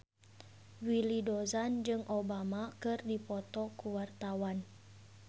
Willy Dozan jeung Obama keur dipoto ku wartawan